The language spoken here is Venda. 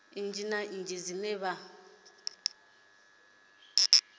nnyi na nnyi dzine vha